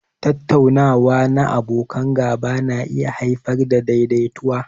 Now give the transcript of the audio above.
Tattaunawa na abokan gaba na iya haifar da daidaituwa.